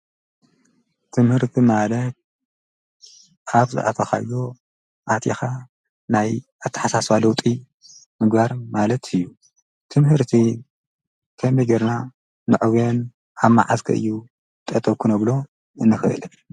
ትምህርቲ ማለት ኣብዝ ኣተኻዮ ኣጢኻ ናይ ኣትሓሳሣዋለጢ ምጓር ማለት እዩ ትምህርቲ ኸምገርና ምዕውን ሓብማዓስኪ እዩ ጠጠኩኖ ብሎ እንኽእልን።